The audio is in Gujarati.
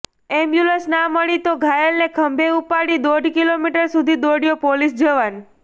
એમ્બ્યૂલન્સ ના મળી તો ઘાયલને ખભે ઉપાડી દોઢ કિલોમીટર સુધી દોડ્યો પોલીસ જવાન